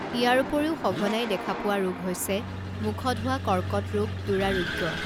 ইয়াৰ উপৰিও সঘনাই দেখাপোৱা ৰোগ হৈছে মুখত হোৱা কৰ্কট ৰোগ দুৰাৰোগ্য